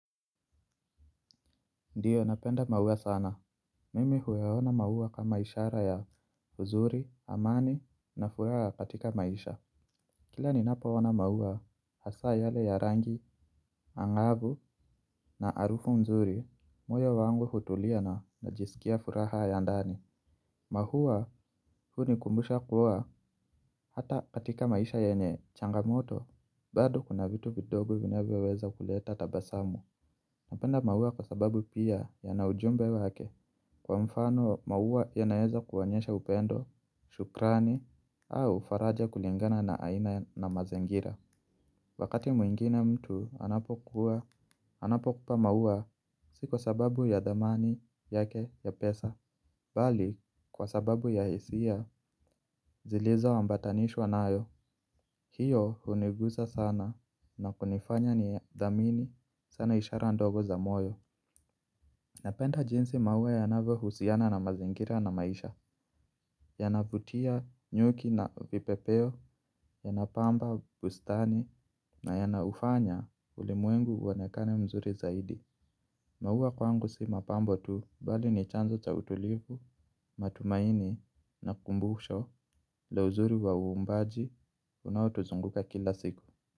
Ndiyo napenda maua sana, mimi huyaona maua kama ishara ya uzuri, amani na furaha katika maisha. Kila ninapo ona maua hasa yale ya rangi, angavu na harufu mzuri, moyo wangu hutulia na najisikia furaha ya ndani. Mahua huni kumbusha kuwa hata katika maisha yenye changamoto, bado kuna vitu vidogo vinavyoweza kuleta tabasamu. Napenda maua kwa sababu pia yana ujumbe wake kwa mfano maua yanaeza kuwanyesha upendo, shukrani, au faraja kulingana na aina na mazingira. Wakati mwingine mtu anapokupa maua si kwa sababu ya dhamani yake ya pesa, bali kwa sababu ya hisia zilizo ambatanishwa nayo, hiyo hunigusa sana na kunifanya ni dhamini sana ishara ndogo za moyo. Napenda jinsi maua yanavyo husiana na mazingira na maisha, yanavutia nyuki na vipepeo, yanapamba bustani na yanaufanya ulimuengu uonekane mzuri zaidi. Maua kwangu si mapambo tu, bali ni chanzo cha utulivu, matumaini na kumbusho, la uzuri wa uumbaji, unaotuzunguka kila siku.